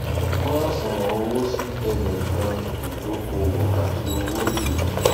pín àṣùwọn owó sí tẹnìkan ìdókòwò àti owó ìlò